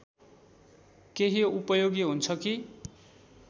केही उपयोगी हुन्छ कि